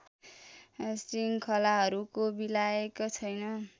श्रृङ्खलाहरूको विलायक छैन